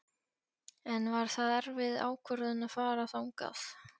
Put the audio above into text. En var það erfið ákvörðun að fara þangað?